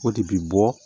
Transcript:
O de bi bɔ